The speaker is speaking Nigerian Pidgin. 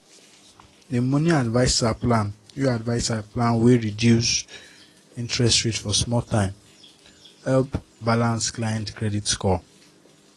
the money adviser plan wey adviser plan wey reduce interest rate for small time help balance clients credit score.